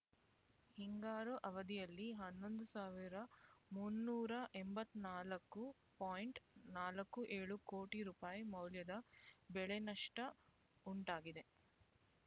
ಹಿಂಗಾರು ಅವಧಿಯಲ್ಲಿ ಹನ್ನೊಂದು ಸಾವಿರ ಮುನ್ನೂರ ಎಂಬತ್ತ್ ನಾಲ್ಕು ಪಾಯಿಂಟ್ ನಾಲ್ಕು ಏಳು ಕೋಟಿ ರೂಪಾಯಿ ಮೌಲ್ಯದ ಬೆಳೆನಷ್ಟ ಉಂಟಾಗಿದೆ